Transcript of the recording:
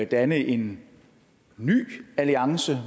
danne en ny alliance